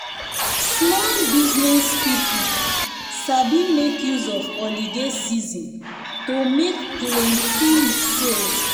small business people sabi make use of holiday season to make plenty sales.